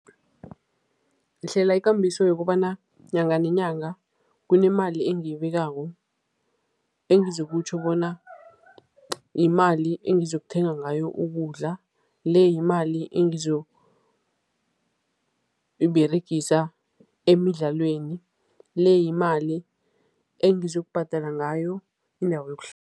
Ngihlela ikambiso yokobana nyanga nenyanga kunemali engiyibekako engizokutjho bona yimali engizokuthenga ngayo ukudla, le yimali engizoyiberegisa emidlalweni, le yimali engizokubhadala ngayo indawo